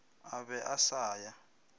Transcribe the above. a be a sa ya